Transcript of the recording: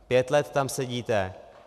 Pět let tam sedíte.